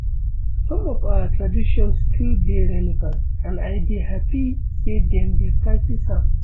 Some of our traditions still dey relevant and I dey happy say dem dey practice am